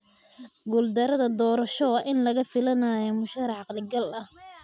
Guuldarada doorasho waa in laga filanayaa musharax caqli-gal ah.